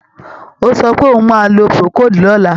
Ó sọ pé òun máa lo Procold ní ọ̀la.